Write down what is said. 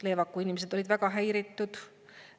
Leevaku inimesed olid väga häiritud.